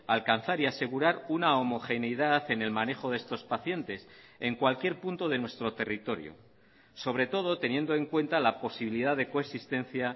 alcanzar y asegurar una homogeneidad en el manejo de estos pacientes en cualquier punto de nuestro territorio sobre todo teniendo en cuenta la posibilidad de coexistencia